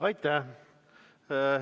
Aitäh!